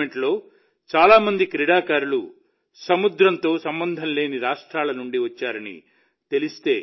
ఈ టోర్నమెంటులో చాలా మంది క్రీడాకారులు సముద్రంతో సంబంధం లేని రాష్ట్రాల నుండి వచ్చారని తెలిస్తే